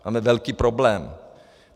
Máme velký problém.